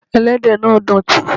Ẹlẹ́dẹ̀ náà dọ̀tí.